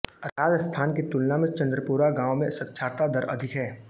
राजस्थान की तुलना में चंदपुरा गाँव में साक्षरता दर अधिक है